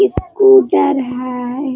Scooter है ।